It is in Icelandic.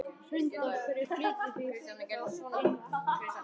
Hrund: Af hverju flytjið þið þá inn erlent kjúklingakjöt?